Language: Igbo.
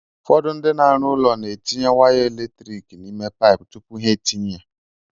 Ụfọdụ ndị na-arụ ụlọ na etinye waya eletrik n'ime paipụ tupu ha etinye ya.